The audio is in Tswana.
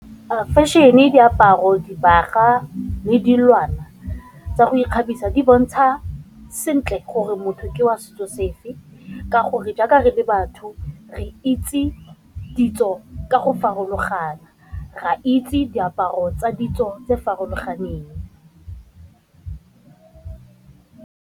Fashion, diaparo, dibaga le dilwana tsa go ikgabisa di bontsha sentle gore motho ke wa setso sefe, ka gore jaaka re le batho re itse ditso ka go farologana, re a itse diaparo tsa ditso tse di farologaneng.